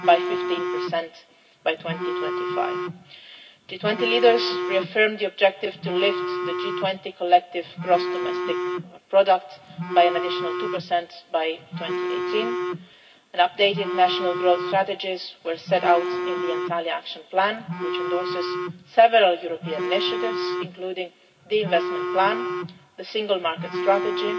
market. G20 leaders reaffirmed the objective to lift the G20 collective gross domestic product by an additional 2 by 2018. Updated national growth strategies were set out in the Antalya Action Plan, which endorses several European initiatives, including the Investment Plan, the Single Market